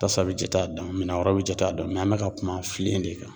Tasa bɛ jate a dɔn minɛn wɛrɛw bɛ jate a dɔn an bɛ ka kuma filen de kan.